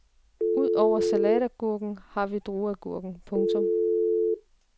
Ud over salatagurken har vi drueagurken. punktum